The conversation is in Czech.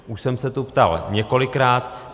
Už jsem se tu ptal několikrát.